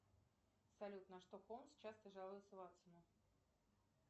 салют на что холмс часто жалуется ватсону